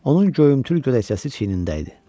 Onun göyümtül görsəsi çiynində idi.